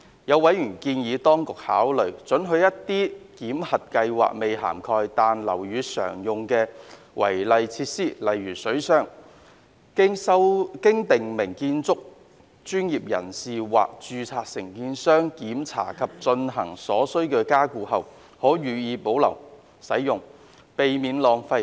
有委員建議當局考慮准許一些檢核計劃未涵蓋、但樓宇常用的違例設施，經訂明建築專業人士或註冊承建商檢查及進行所需加固後，可予以保留使用，避免浪費。